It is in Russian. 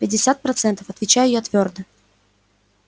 пятьдесят процентов отвечаю я твёрдо